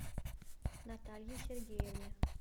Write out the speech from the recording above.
наталье сергеевне